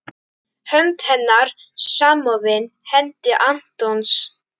Hönd hennar samofin hendi Antons.